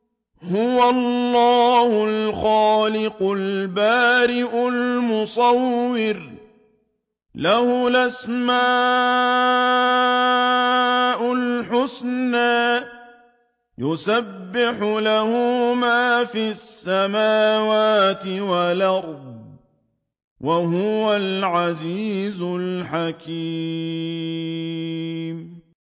هُوَ اللَّهُ الْخَالِقُ الْبَارِئُ الْمُصَوِّرُ ۖ لَهُ الْأَسْمَاءُ الْحُسْنَىٰ ۚ يُسَبِّحُ لَهُ مَا فِي السَّمَاوَاتِ وَالْأَرْضِ ۖ وَهُوَ الْعَزِيزُ الْحَكِيمُ